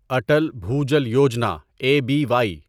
Atal Bhujal Yojana A B Y